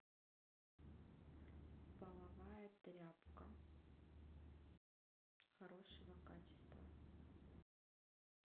половая тряпка хорошего качества